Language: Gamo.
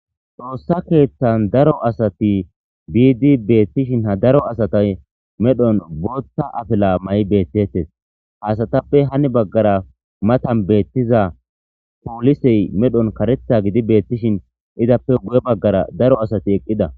xoossa keeththan daro asati biidi beettishin ha daro asatay medhon bootta afila may beettettes haasatappe hani baggara matan beettiza poolisey medhon karetha gidi beettishin izappe guye baggara daro asati eqqida